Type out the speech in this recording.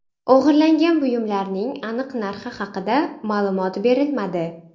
O‘g‘irlangan buyumlarning aniq narxi haqida ma’lumot berilmadi.